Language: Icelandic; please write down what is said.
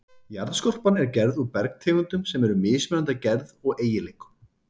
Jarðskorpan er gerð úr bergtegundum sem eru mismunandi að gerð og eiginleikum.